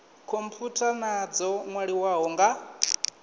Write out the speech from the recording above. khomphutha na dzo nwaliwaho nga